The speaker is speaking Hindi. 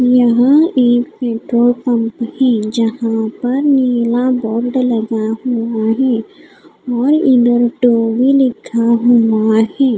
यहाँ एक पेट्रोल पंप है जहाँ पर नीला बोर्ड लगा हुआ है और इधर लिखा हुआ है।